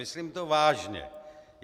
Myslím to vážně.